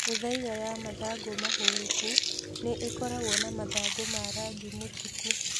Mĩthaiga ya mathangũ mahũreku na ĩkoragwo na mathangũ ma rangi mũtuku.